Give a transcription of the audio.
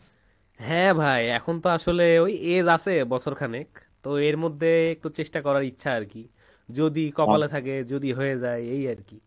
হ্যাঁ ভাই এখন তো আসলে age আছে বছর খানেক তো এর মধ্যে একটু চেষ্টা করার ইচ্ছা আরকি যদি কপালে থাকে যদি হয়ে যায় এই আরকি।